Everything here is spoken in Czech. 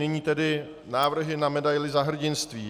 Nyní tedy návrhy na medaili Za hrdinství.